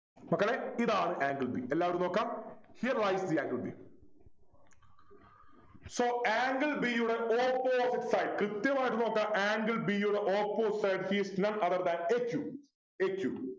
മക്കളെ ഇതാണ് angle b എല്ലാരും നോക്കാം Here is the angle b so angle b യുടെ opposite side കൃത്യമായിട്ട് നോക്കുക angle b യുടെ opposite side is none other than a q a q